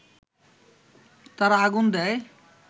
তারা আগুন দেয়